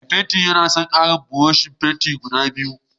Mai fenti yana son karin buroshin fenti guda biyu